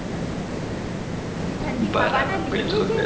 જે ઠંડી હવામાં નીકળે છે